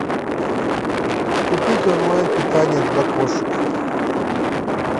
купить онлайн питание для кошек